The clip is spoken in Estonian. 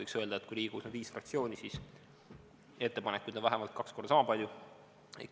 Võiks öelda, et kui Riigikogus on viis fraktsiooni, siis ettepanekuid on vähemalt kaks korda sama palju.